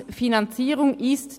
] die Finanzierung [